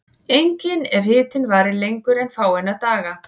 Einnig ef hitinn varir lengur en fáeina daga.